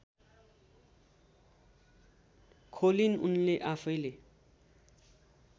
खोलिन् उनले आफैँले